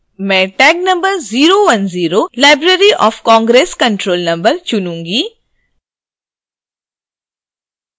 मैं tag number 010library of congress control number चुनूँगी